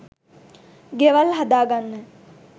ගෙවල් හදා ගන්න